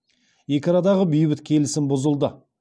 екі арадағы бейбіт келісім бұзылды